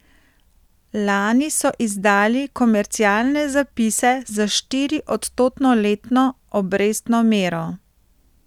Lani so izdali komercialne zapise s štiriodstotno letno obrestno mero.